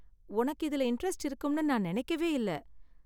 உனக்கு இதுல இண்டரெஸ்ட் இருக்கும்னு நான் நினைக்கவே இல்ல.